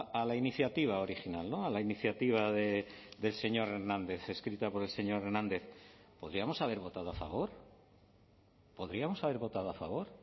a la iniciativa original a la iniciativa del señor hernández escrita por el señor hernández podríamos haber votado a favor podríamos haber votado a favor